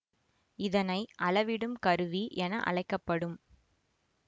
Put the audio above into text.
இதனை அளவிடும் கருவி என அழைக்க படும்